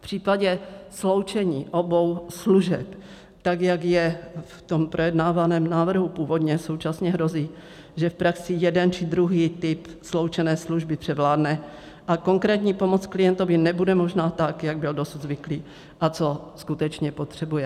V případě sloučení obou služeb tak, jak je v tom projednávaném návrhu původně, současně hrozí, že v praxi jeden či druhý typ sloučené služby převládne, a konkrétní pomoc klientovi nebude možná tak, jak byl dosud zvyklý a co skutečně potřebuje.